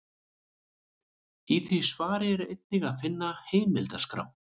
Í því svari er einnig að finna heimildaskrá.